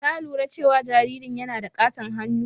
Ka lura cewa jaririn yana da ƙaton hannu?